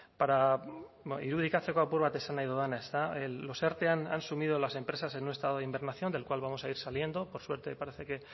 para irudikatzeko apur bat esan nahi dudana los erte han sumido a las empresas en un estado de hibernación del cual vamos a ir saliendo por suerte parece que